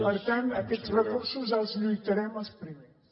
per tant per aquests recursos hi lluitarem els primers